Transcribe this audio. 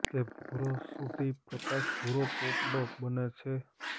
તે ભુરો સુધી પ્રકાશ ભુરો પોપડો બને છે